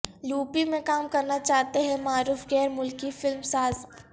UP میں کام کرنا چاہتے ہیں معروف غیر ملکی فلم ساز